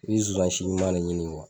I bɛ zonzan si ɲuman de ɲini